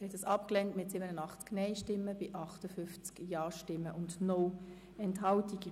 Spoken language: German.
Sie haben diesen Antrag auf Nichteintreten abgelehnt mit 87 Nein-Stimmen bei 58 Ja-Stimmen und 0 Enthaltungen.